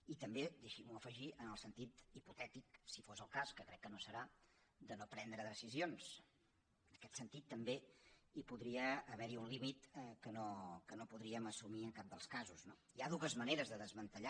i també deixi m’ho afegir en el sentit hipotètic si fos el cas que crec que no ho serà de no prendre decisions en aquest sentit també hi podria haver un límit que no podríem assumir en cap dels casos no hi ha dues maneres de desmantellar